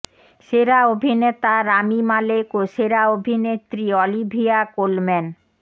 সেরা অভিনেতা Rami Malek ও সেরা অভিনেত্রী অলিভিয়া কোলম্যান